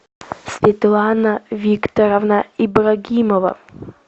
светлана викторовна ибрагимова